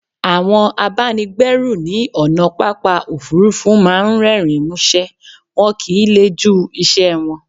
Àwọn abáni gbẹ́rù ní ònà pápá òfurufú máà ń rérìn músé, wọn kìí le jú iṣẹ wọn